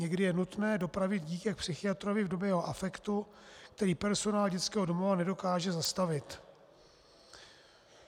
Někdy je nutné dopravit dítě k psychiatrovi v době jeho afektu, který personál dětského domova nedokáže zastavit.